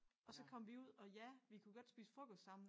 Og så kom vi ud og ja vi kunne godt spise frokost sammen